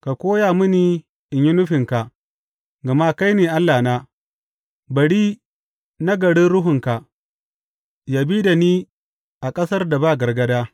Ka koya mini in yi nufinka, gama kai ne Allahna; bari nagarin Ruhunka yă bi da ni a ƙasar da ba gargaɗa.